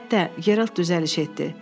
Həyətdə, Geralt düzəliş etdi.